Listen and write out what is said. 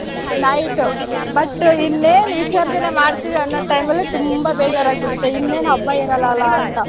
night but ಇನ್ನೇನ್ ವಿಸರ್ಜನೆ ಮಾಡ್ತೀವಿ ಅನ್ನೋ time ಅಲ್ಲಿ ತುಂಬಾ ಬೇಜಾರಾಗ್ಬಿಡುತ್ತೆ. ಇನ್ನೇನ್ ಹಬ್ಬ ಇರಲ್ಲ ಅಲಾ ಅಂತ.